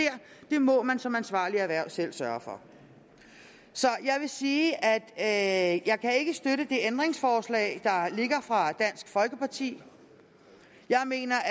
må man som ansvarligt erhverv selv sørge for så jeg vil sige at jeg ikke kan støtte det ændringsforslag der ligger fra dansk folkeparti jeg mener